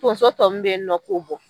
Tonso tɔ mun be yen nɔ ,k'o bɔ.